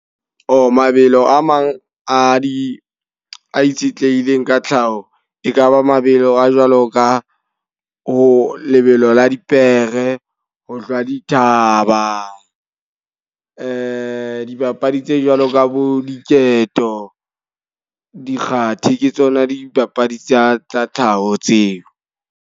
mabelo a mang a di a itshetlehileng ka tlhaho. E ka ba mabelo a jwalo ka ho lebelo la dipere, ho hlwa di thaba. Dibapadi tse jwalo ka bo diketo, dikgathi ke tsona dipapadi tsa tsa tlhaho tseo.